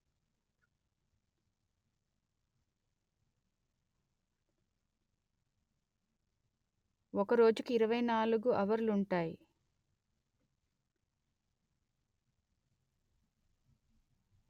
ఒక రోజుకు ఇరవై నాలుగు హవర్లుంటాయి